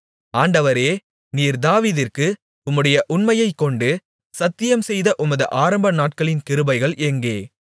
ஆண்டவரே நீர் தாவீதிற்கு உம்முடைய உண்மையைக்கொண்டு சத்தியம்செய்த உமது ஆரம்பநாட்களின் கிருபைகள் எங்கே